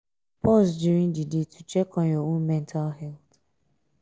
pause during di day to check on your own mental health